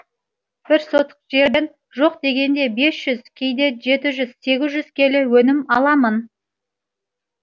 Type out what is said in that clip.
бір сотық жерден жоқ дегенде бес жүз кейде жеті жүз сегіз жүз келі өнім аламын